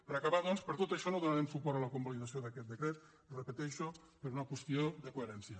per acabar doncs per tot això no donarem suport a la convalidació d’aquest decret ho repeteixo per una qüestió de coherència